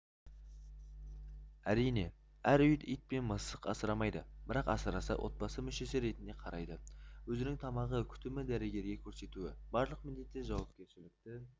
әрине әр үй ит пен мысық асырамайды бірақ асыраса отбасы мүшесі ретінде қарайды өзінің тамағы күтімі дәрігерге көрсетуі барлық міндет жауапкершілікті